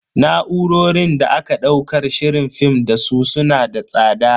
Na'urorin da aka daukar shirin film dasu su na da tsada.